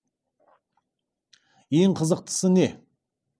ең қызықтысы не